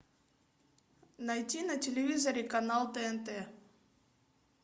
найти на телевизоре канал тнт